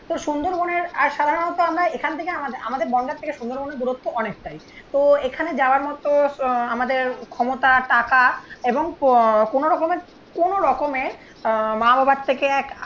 তো সুন্দরবনের আর সাধারণত আমরা এখান থেকে আমাআমাদের বনগাঁর থেকে সুন্দরবনের দূরত্ব অনেকটাই তো এখানে যাওয়ার মতো আমাদের ক্ষমতা টাকা এবং কোনো রকমের কোনো রকমের আহ মা বাবার থেকে এক